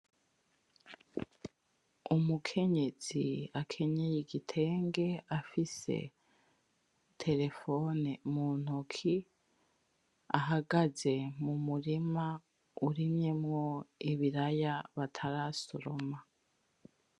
Umukenyezi akenyeye igitenge afise terefone muntoki ahagaze mumurima urimyemwo ibiraya batarasoroma